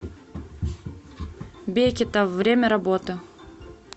бекетовъ время работы